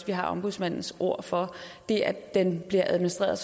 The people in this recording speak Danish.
vi har ombudsmandens ord for det at den bliver administreret